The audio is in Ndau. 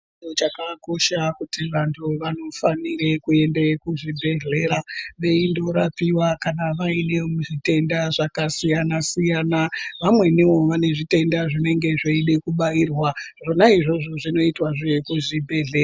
Chiro chakakosha kuti vantu vanofanire kuende kuzvibhedhlera veindorapiwa kana vaine zvitenda zvakasiyana siyana vamweniwo vane zvitenda zvinenge zveida kubairwa zvona izvozvo zvinoitwahe kuzvibhedhlera.